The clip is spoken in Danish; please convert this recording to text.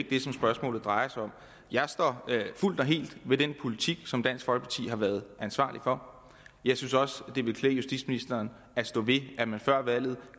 det som spørgsmålet drejer sig om jeg står fuldt og helt ved den politik som dansk folkeparti har været ansvarlig for jeg synes også det ville klæde justitsministeren at stå ved at man før valget